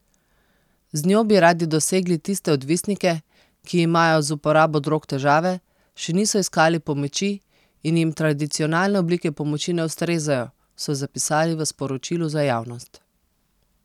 Z njo bi radi dosegli tiste odvisnike, ki imajo z uporabo drog težave, še niso iskali pomoči in jim tradicionalne oblike pomoči ne ustrezajo, so zapisali v sporočilu za javnost.